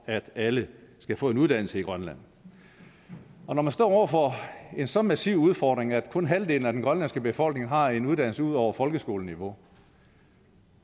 at alle skal få en uddannelse i grønland når man står over for en så massiv udfordring at kun halvdelen af den grønlandske befolkning har en uddannelse ud over folkeskoleniveau